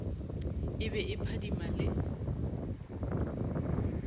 e be e phadima le